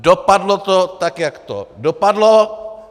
Dopadlo to tak, jak to dopadlo.